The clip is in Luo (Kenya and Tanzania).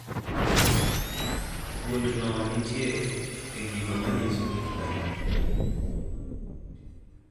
Gund no nitye e gigo manyiso kit dhano